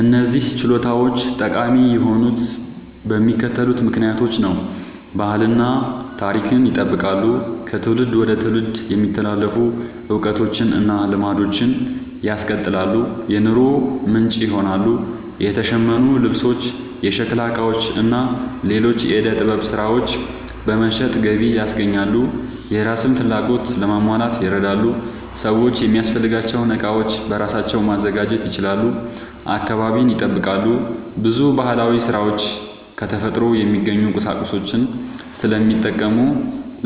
እነዚህ ችሎታዎች ጠቃሚ የሆኑት በሚከተሉት ምክንያቶች ነው፦ ባህልን እና ታሪክን ይጠብቃሉ – ከትውልድ ወደ ትውልድ የሚተላለፉ እውቀቶችን እና ልማዶችን ያስቀጥላሉ። የኑሮ ምንጭ ይሆናሉ – የተሸመኑ ልብሶች፣ የሸክላ ዕቃዎች እና ሌሎች የዕደ ጥበብ ሥራዎች በመሸጥ ገቢ ያስገኛሉ። የራስን ፍላጎት ለማሟላት ይረዳሉ – ሰዎች የሚያስፈልጋቸውን ዕቃዎች በራሳቸው ማዘጋጀት ይችላሉ። አካባቢን ይጠብቃሉ – ብዙ ባህላዊ ሥራዎች ከተፈጥሮ የሚገኙ ቁሳቁሶችን ስለሚጠቀሙ